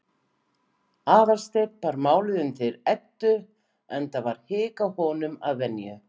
Aðalsteinn bar málið undir Eddu, enda var hik á honum að venju.